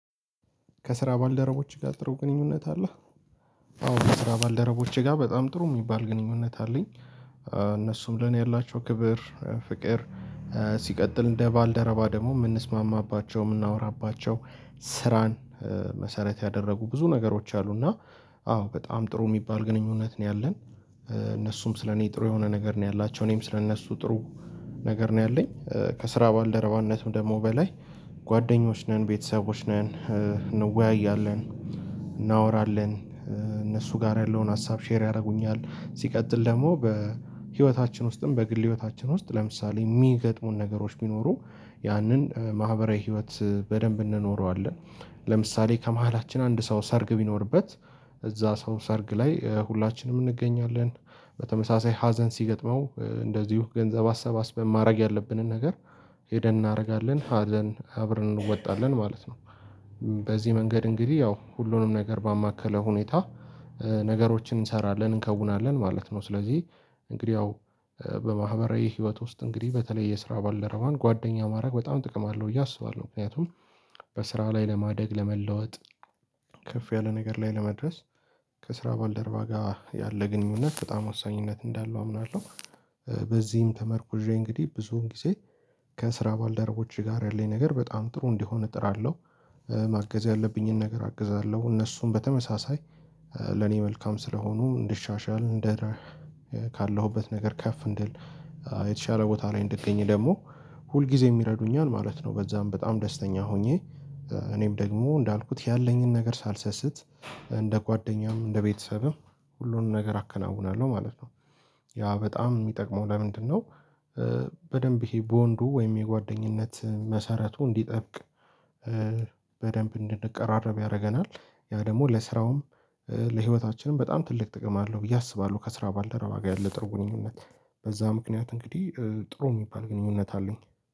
ከስራ ባልደረቦቼ ጋር ጥሩ ግንኙነት አለህ? አዎ ከስራ ባልደረቦቼ ጋር በጣም ጥሩ የሚባል ግንኙነት አለኝ እነሱም ለኔ ያላቸው ክብር ፍቅር ሲቀጥል እንደ ባልደረባ ደግሞ የምንስማማባቸው የምናወራባቸው ስራን መሰረት ያደረጉ ብዙ ነገሮች አሉ እና አዎ በጣም ጥሩ የሚባል ግንኙነት ነው ያለን እነሱም ስለኔ ጥሩ የሆነ ነገር ነው ያላቸው እኔም ስለእነሱ ጥሩ ነገር ነው ያለኝ ከስራ ባልደረባነትም ደግሞ በላይ ጓደኞች ነን ቤተሰቦች ነን እንወያያለን እናወራለን እነሱ ጋር ያለውን ሀሳብ ሼር ያደርጉኛል ሲቀጥል ደግሞ በህይወታችን ውስጥም በግል ህይወታችን ውስጥ ለምሳሌ የሚገጥሙን ነገሮች ቢኖሩ ያንን ማህበራዊ ህይወት በደንብ እንኖረዋለን ለምሳሌ ከመሃላችን አንድ ሰው ሰርግ ቢኖርበት እዛ ሰው ሰርግ ላይ ሁላችንም እንገኛለን፤ በተመሳሳይ ሀዘን ሲገጥመው እንደዚሁ ገንዘብ አሰባስበን ማድረግ ያለብንን ነገር ሄደን እናደርጋለን ሀዘን አብረን እንወጣለን ማለት ነው፤ በዚህ መንገድ እንግዲህ ያው ሁሉንም ነገር ባማከለ ሁኔታ ነገሮችን እንሰራለን እንከውናለን ማለት ነው ስለዚህ እንግዲህ ያው በማህበራዊ ህይወት ውስጥ እንግዲህ በተለይ የስራ ባልደረዋን ጓደኛ ማድረግ በጣም ጥቅም አለው አስባለሁ ምክንያቱም በስራ ላይ ለማደግ ለመለወጥ ከፍ ያለ ነገር ላይ ለመድረስ ከስራ ባልደርባ ጋር ያለ ግንኙነት በጣም ወሳኝነት እንዳለው አምናለሁ በዚህም ተመርኩዠ እንግዲህ ብዙውን ጊዜ ከስራ ባልደረቦች ጋር ያለኝ ነገር በጣም ጥሩ እንዲሆን እጥራለሁ ማገዝ ያለብኝን ነገር አግዛለሁ እነሱን በተመሳሳይ ለኔ መልካም ስለሆኑ እንድሻሻል እንደ ካለሁበት ነገር ከፍ እንድል የተሻለ ቦታ ላይ እንድገኝ ደግሞ ሁል ጊዜ ይረዱኛል ማለት ነው በዛም በጣም ደስተኛ ሆኜ እኔም ደግሞ እንዳልኩት ያለኝን ነገር ሳልሰስት እንደ ጓደኛም እንደ ቤተሰብም ሁሉንም ነገር አከናውናለሁ ማለት ነው። ያ በጣም የሚጠቅመው ለምንድነው በደንብ ይሄ በወንዱ ወይም የጓደኝነት መሰረቱ እንዲጠብቅ በደንብ እንድንቀራረብ ያደርገናል ያ ደግሞ ለስራውም ለህይወታችንም በጣም ትልቅ ጥቅም አለው ብዬ አስባለሁ ከስራ ባልደረባ ጋር ያለ ግንኙነት በዛ ምክንያት እንግዲህ ጥሩ የሚባል ግንኙነት አለኝ።